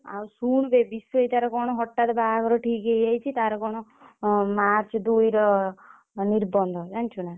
ଆଉ ଶୁଣୁ ବେ ବିଷୋଦିତାର କଣ ହଠାତ ବାହାଘର ଠିକ ହେଇଯାଇଛି ତାର କଣ March ଦୁଇର ନିର୍ବନ୍ଧ ଜାଣିଛୁ ନା।